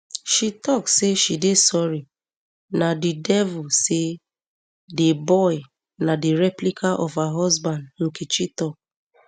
she tok say she dey sorry na di devil say di boy na di replica of her husband nkechi tok